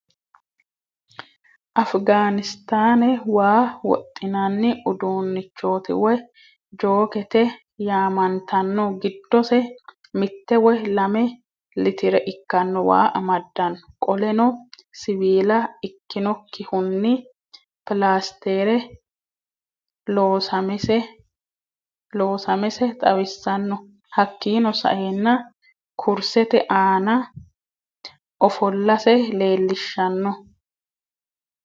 Afghanistan waa woxinani udunichooti woy jockete yamantaano. giddose mitte woye lame littere ikano waa amadano. qoleno siwiila ikinokihuni plaastere loosamese xawiisaano. hakkino saena kurseete ana ofolaase lelishaano.